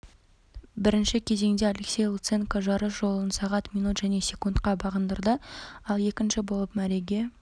бірінші кезеңде алексей луценко жарыс жолын сағат минут және секундта бағындырды ал екінші болып мәреге